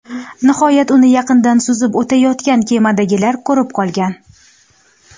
Nihoyat, uni yaqindan suzib o‘tayotgan kemadagilar ko‘rib qolgan.